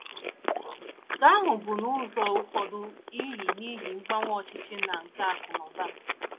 Nke ahụ bụ n’ụzọ ụfọdụ n’ihi n’ihi mgbanwe ọchịchị na nke akụ̀ na ụba.